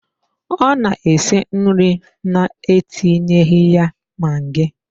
Ọ na-esi nri na-etinyeghi ya magi.